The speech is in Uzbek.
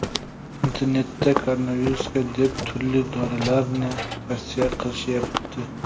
Internetda koronavirusga deb turli dorilarni tavsiya qilishyapti.